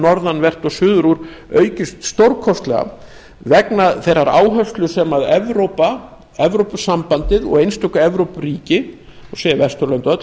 norðanvert og suður úr aukist stórkostlega vegna þeirrar áherslu sem evrópa evrópusambandið og einstök evrópuríki má segja vesturlönd öll